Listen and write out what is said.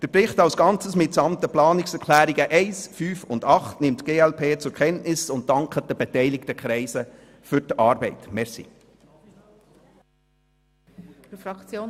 Die glp nimmt den Bericht als Ganzes mitsamt den Planungserklärungen 1, 5 und 8 zur Kenntnis und dankt den beteiligten Kreisen für die Arbeit.